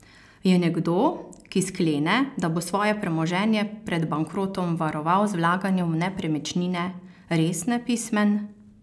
Je nekdo, ki sklene, da bo svoje premoženje pred bankrotom varoval z vlaganjem v nepremičnine, res nepismen?